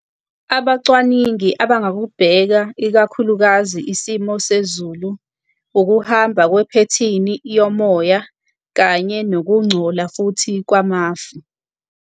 Abacwaningi abangakubheka ikakhulukazi isimo sezulu, ukuhamba kwephethini yomoya, kanye nokungcola futhi kwamafu.